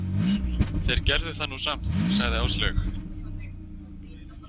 Þeir gerðu það nú samt, sagði Áslaug.